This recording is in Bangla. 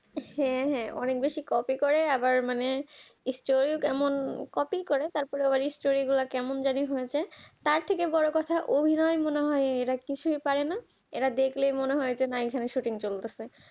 হ্যাঁ হ্যাঁ অনেক বেশি copy করে আবার মানে story ও কেমন copy করে তারপর আবার story গুলো কেমন জানি হয়ে যায় তার থেকে বড় কথা অভিনয় মনে হয় এরা কিছুই পারে না এরা দেখলে মনে হয় যেন এখানে shooting চলতেছে